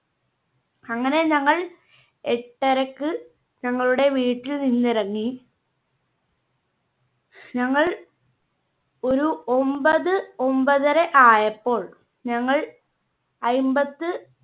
അങ്ങനെ ഞങ്ങൾ എട്ടരയ്ക്ക് ഞങ്ങളുടെ വീട്ടിൽ നിന്ന് ഇറങ്ങി. ഞങ്ങൾ ഒരു ഒമ്പത് ഒമ്പതര ആയപ്പോൾ ഞങ്ങൾ അയ്മ്പത്